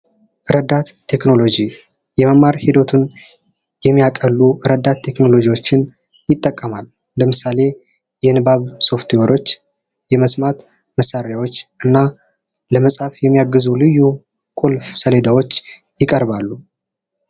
ረዳት ቴክኖሎጂ! የመማር ሂደቱን የሚያቀሉ ረዳት ቴክኖሎጂዎችን ይጠቀማል። ለምሳሌ የንባብ ሶፍትዌሮች ፣የመስማት መሳሪያዎች እና ለመፃፍ የሚያግዙ ልዩ ቁልፍ ሰሌዳዎች ይቀርባሉ።